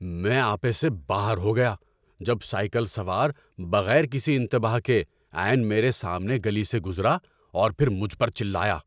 میں آپے سے باہر ہو گیا جب سائیکل سوار بغیر کسی انتباہ کے عین میرے سامنے گلی سے گزرا اور پھر مجھ پر چلایا۔